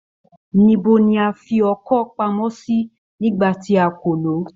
Ní ibo ni a fi ọkọ́ pamọ́ sí nígbà tí a kò lọ̀ o?